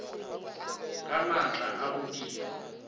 ga maatla a go dira